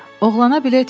Oğlana bilet verin!